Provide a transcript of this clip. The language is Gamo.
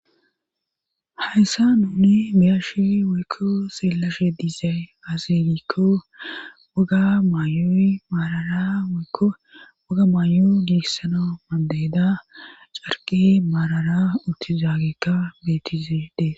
Hayssa nuni biyashii woykko seelashe diizay azirikko waga maayooyy maarara woykko woga maayo giessana madeyeda carqe maarara uttizaagekka betiziede.